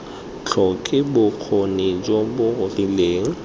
tlhoke bokgoni jo bo rileng